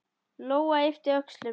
Lóa yppti öxlum.